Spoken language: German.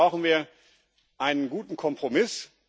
Deswegen brauchen wir einen guten Kompromiss.